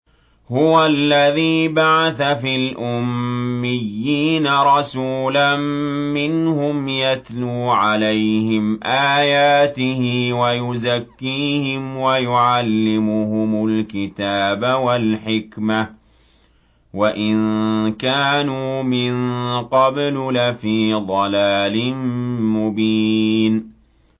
هُوَ الَّذِي بَعَثَ فِي الْأُمِّيِّينَ رَسُولًا مِّنْهُمْ يَتْلُو عَلَيْهِمْ آيَاتِهِ وَيُزَكِّيهِمْ وَيُعَلِّمُهُمُ الْكِتَابَ وَالْحِكْمَةَ وَإِن كَانُوا مِن قَبْلُ لَفِي ضَلَالٍ مُّبِينٍ